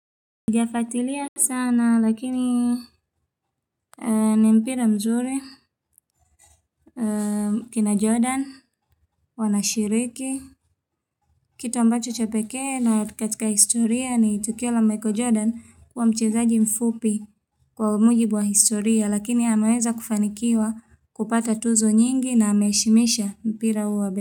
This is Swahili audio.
Sijafuatilia sana lakini ni mpira mzuri kina jordan Wanashiriki kitu ambacho cha pekee na katika historia ni tukio la Michael Jordan kuwa mchezaji mfupi Kwa mujibu wa historia lakini hamaweza kufanikiwa kupata tuzo nyingi na hameishimisha mpira uwa.